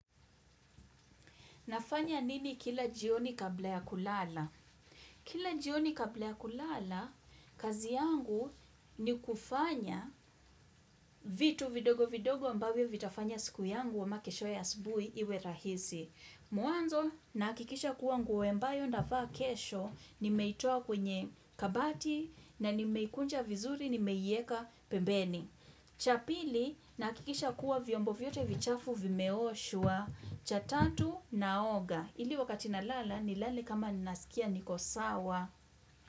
Nafanya nini kila jioni kabla ya kulala? Kila jioni kabla ya kulala, kazi yangu ni kufanya vitu vidogo vidogo ambavyo vitafanya siku yangu ama kesho ya asubuhi iwe rahisi. Mwanzo, nahakikisha kuwa nguo ambayo nitavaa kesho, nimeitoa kwenye kabati na nimeikunja vizuri, nimeieka pembeni. Cha pili nahakikisha kuwa vyombo vyote vichafu vimeoshwa cha tatu naoga ili wakati na lala nilale kama ninasikia niko sawa.